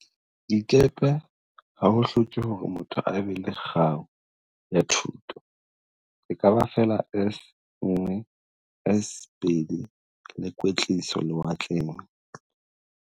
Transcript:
dikepe ha ho hloke hore motho a be le kgau ya thuto, ekaba feela S1, S2 le kwetliso lewatleng.